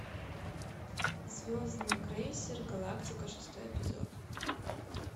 звездный крейсер галактика шестой эпизод